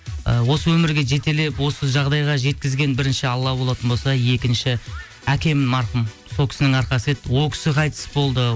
ы осы өмірге жетелеп осы жағдайға жеткізген бірінші алла болатын болса екінші әкем марқұм сол кісінің арқасы еді ол кісі қайтыс болды